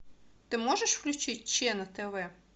ты можешь включить че на тв